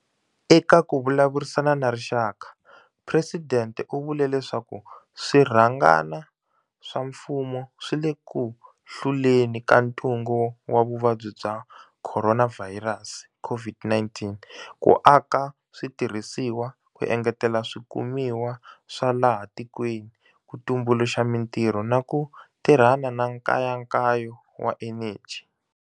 Eka ku vulavurisana na rixaka, Presidente u vule leswaku swirhangana swa mfumo swi le ku hluleni ka ntungu wa Vuvabyi bya Khoronavhayirasi, COVID-19, ku aka switirhisiwa, ku engetela swikumiwa swa laha tikweni, ku tumbuluxa mitirho na ku tirhana na nkayakayo wa eneji.